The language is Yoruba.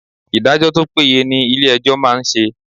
Ìdájọ́ tó péye ni ilé ẹjọ́ máa ń ṣe.